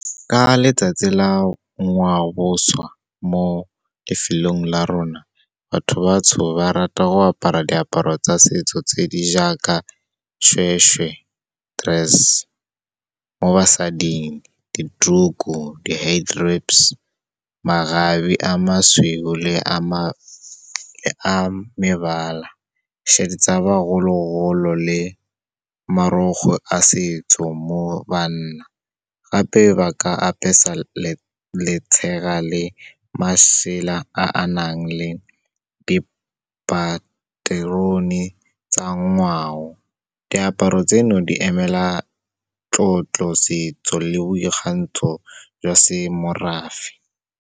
Ka letsatsi la ngwaoboswa mo lefelong la rona, batho batsho ba rata go apara diaparo tsa setso tse di jaaka seshweshwe dress. Mo basading, dituku, makgabe a mosweu le a mebala, tsa bogololo le marukgwe a setso mo banna. Gape ba ka apesa letshega le masela a a nang le dipaterone tsa ngwao. Diaparo tseno, di emela tlotlo, setso le boikgantsho jwa semorafe.